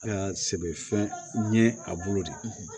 sɛbɛfɛn ɲɛ a bolo de